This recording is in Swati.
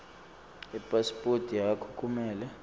ipasiphothi yakho kumele